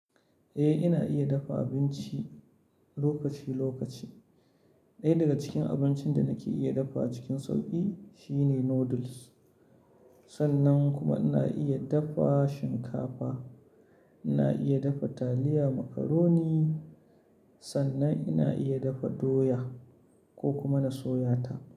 Eh, ina iya dafa abinci lokaci lokaci. Ɗaya daga cikin abincin da nake iya dafawa cikin sauƙi shine noodles. Sannan kuma ina iya dafa shinkafa, ina iya dafa taliya, macaroni, sannan ina iya dafa doya ko kuma na soya ta.